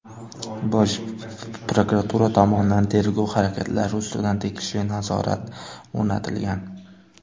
Bosh prokuratura tomonidan tergov harakatlari ustidan tegishli nazorat o‘rnatilgan.